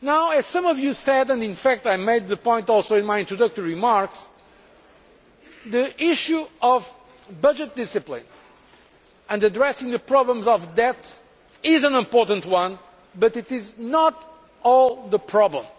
As some of you said and in fact I also made the point in my introductory remarks the issue of budget discipline and addressing the problems of debt is an important one, but it is not the whole problem.